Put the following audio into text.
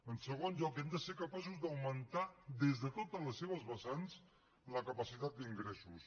en segon lloc hem de ser capaços d’augmentar des de totes les seves vessants la capacitat d’ingressos